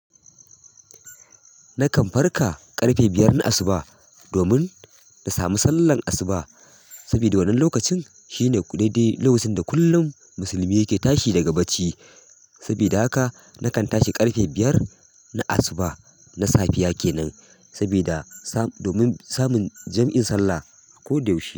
Na kan farka ƙarfe biyar na asuba domin na samu sallar asuba, sabida wannan lokacin shine ku daidai lokacin da kullum musulmi ke tashi daga bacci. Sabida haka nakan tashi ƙarfe biyar na asuba, na safiya kenan sabida sa-- domin samun jam'in sallah ko da yaushe.